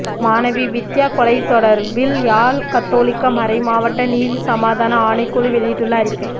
மாணவி வித்தியா கொலை தொடர்பில் யாழ் கத்தோலிக்க மறைமாவட்ட நீதி சமாதான ஆணைக்குழு வெளியிட்டுள்ள அறிக்கை